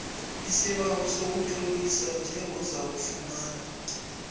isibawo sokuzitlolisa njengozakufumana